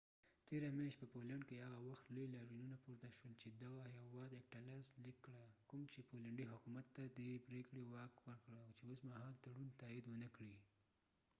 تیره میاشت په پولينډ کي هغه وخت لوي لاریونونه پورته شول چي دغه هيواد اکټا لاس ليک کړه کوم چي پولينډي حکومت ته دي پریکړه واک ورکړه چي اوس مهال تړون تايد ونکړي